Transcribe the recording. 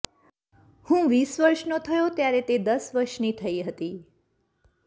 હું વીસ વર્ષનો થયો ત્યારે તે દશ વર્ષની થઈ હતી